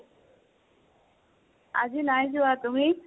আজি নাই যোৱা । তুমি?